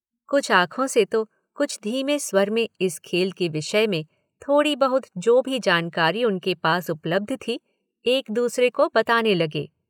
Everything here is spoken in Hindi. कुछ आँखों से तो कुछ धीमे स्वर में इस खेल के विषय में थोड़ी बहुत जो भी जानकारी उनके पास उपलब्ध थी एक दूसरे को बताने लगे।